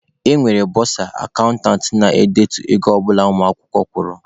E nwere bọsa/akantant na-edetu ego ọ bụla ụmụ akwụkwọ kwụrụ.